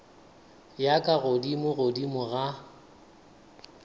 ya ka godimo godimo ga